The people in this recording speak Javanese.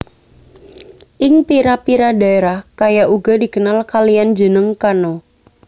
Ing pira pira daerah kayak uga dikenal kalian jeneng kano